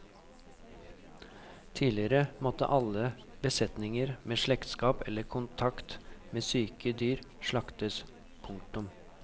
Tidligere måtte alle besetninger med slektskap eller kontakt med syke dyr slaktes. punktum